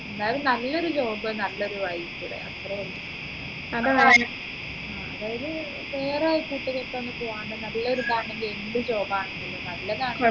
എന്തായാലും നല്ലൊരു job നല്ലൊരു life ഇവിടെ അത്രേ വേണ്ടു അതായത് വേറെ കൂട്ടുകെട്ടൊന്നും പോവണ്ട് നല്ലൊരു എന്ത് job ആണെങ്കിലും നല്ലതാണെങ്കിലും